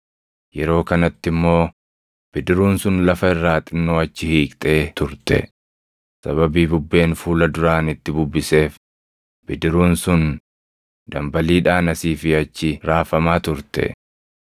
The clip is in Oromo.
yeroo kanatti immoo bidiruun sun lafa irraa xinnoo achi hiiqxee turte; sababii bubbeen fuula duraan itti bubbiseef bidiruun sun dambaliidhaan asii fi achi raafamaa turte.